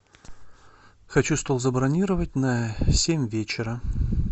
хочу стол забронировать на семь вечера